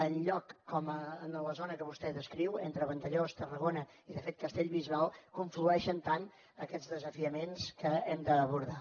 enlloc com en la zona que vostè descriu entre vandellòs tarragona i de fet castellbisbal conflueixen tant aquests desafiaments que hem d’abordar